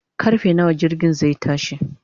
karfe nawa jirgin zai tashi?